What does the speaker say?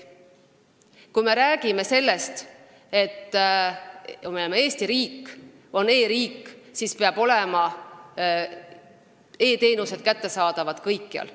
Kui me räägime sellest, et Eesti on e-riik, siis peavad e-teenused olema kättesaadavad kõikjal.